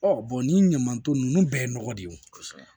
nin ɲaman tɔ ninnu bɛɛ ye nɔgɔ de ye o kosɛbɛ